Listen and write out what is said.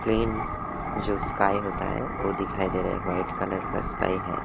Clean जो sky होता है वो दिखाई दे रहा है वाइट कलर का स्काई है।